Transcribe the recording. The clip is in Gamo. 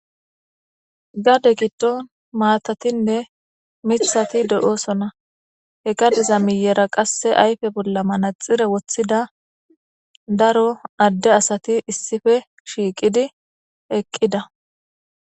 gade giddon maatatinne mithati do7oosona he gadiza miyera qasse ayfe bolla manaxire wothida daro adde asati issife shiiqidi eqqida